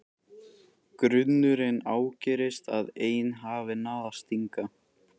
Grunurinn ágerist að ein hafi náð að stinga.